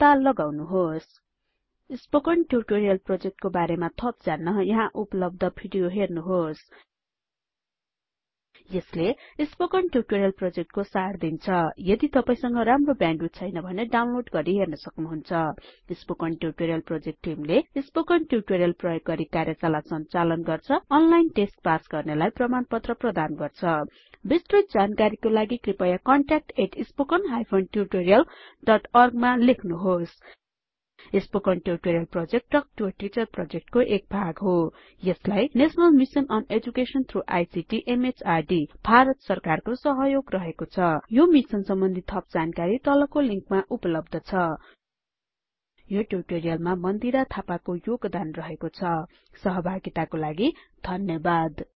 पत्ता लगाउनुहोस् 000923 000922 spoken tutorial प्रोजेक्टको बारेमा थप जान्न यहाँ उपलब्ध भिडियो हेर्नुहोस् 1 यसले स्पोकन ट्युटोरियल प्रोजेक्टको सार दिन्छ यदि तपाई संग राम्रो ब्याण्डविड्थ छैन भने यसलाई डाउनलोड गरि हेर्न सक्नुहुन्छ स्पोकन ट्युटोरियल प्रोजेक्ट टिमले स्पोकन ट्युटोरियल प्रयोग गरि कार्यशाला संचालन गर्छ अनलाइन टेस्ट पास गर्नेलाई प्रमाणपत्र प्रदान गर्छ बिस्तृत जानकारीको लागि कृपयाcontactspoken tutorialorg मा लेख्नुहोस् spoken tutorial project talk to a teacher प्रोजेक्टको एक भाग हो यसलाई national mission on education through ICT MHRDभारत सरकारको सहयोग रहेको छ यो मिसन सम्बन्धि थप जानकारी 2 मा उपलब्ध छ यो ट्युटोरियलमा मन्दिरा थापाको योगदान रहेको छ सहभागिताको लागि धन्यवाद